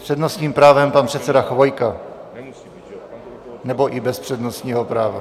S přednostním právem pan předseda Chvojka, nebo i bez přednostního práva.